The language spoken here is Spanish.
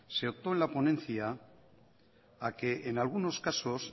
se optó en la ponencia a que en algunos casos